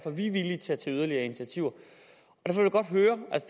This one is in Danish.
er vi villige til at tage yderligere initiativer